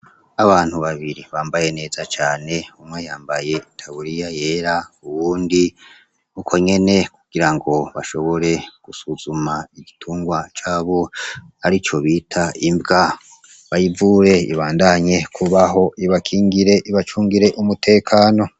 Abantu babiri bambaye neza cane umwe yambaye itaburiya yera uwundi uko nyene kugirango bashobora gusuzuma igitungwa cabo arico bita imbwa bayivure ibandanye kubaho ibakingire, ibacungire umutekano.